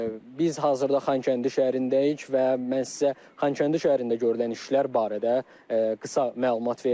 Biz hazırda Xankəndi şəhərindəyik və mən sizə Xankəndi şəhərində görülən işlər barədə qısa məlumat verdim.